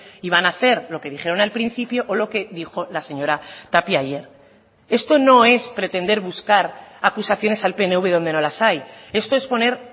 iban a hacer lo que dijeron al principio o lo que dijo la señora tapia ayer esto no es pretender buscar acusaciones al pnv donde no las hay esto es poner